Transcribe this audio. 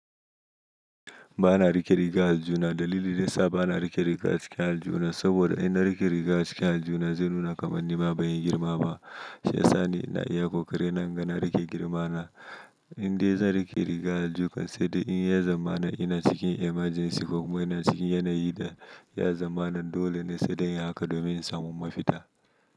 Ba na rike riga a aljuna. Dalili nesa ba na rike riga a cikin aljuna, saboda in na rike riga a cikin aljuna, zai nuna kamar ni ma ban yi girma ba. Shi yasa ni ina iya kokari na, naga na rike girma na. Inde zan rike riga a aljuka, sai dai in ya zamana ina cikin emergency ko kuma ina cikin yanayi da ya zamana dole ne sai dai in haka domin in samu mafita.